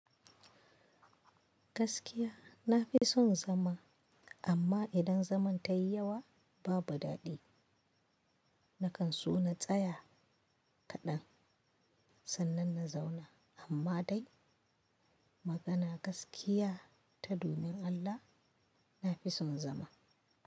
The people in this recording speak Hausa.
Gaskiya na fi son zama. Amma idan zaman tayi yawa, babu daɗi. Nakan so na tsaya kaɗan sannan na zauna, amma dai, magana gaskiya, ta domin Allah na fi son zama.